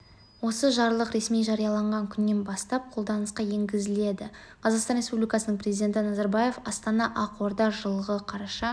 осы жарлық ресми жарияланған күнінен бастап қолданысқа енгізіледі қазақстан республикасының президенті назарбаев астана ақорда жылғы қараша